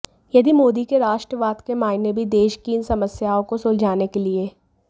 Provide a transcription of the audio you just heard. यदि मोदी के राष्ट्रवाद के मायने भी देश की इन समस्याओं को सुलझाने के लिए